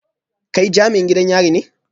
Kai jami'in gidan yari ne?